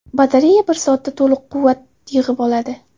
Batareya bir soatda to‘liq quvvat yig‘ib oladi.